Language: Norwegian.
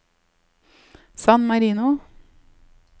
San Marino